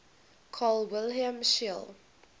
carl wilhelm scheele